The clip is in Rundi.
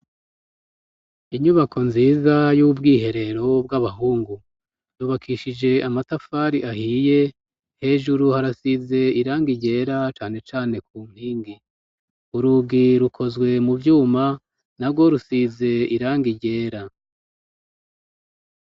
Inyubako nziza y'ubwiherero bw'abahungu ,yubakishije amatafari ahiye ,hejuru harasize irangi ryera cane cane ku nkingi ,urugi rukozwe mu vyuma na rwo rusize irangi ryera.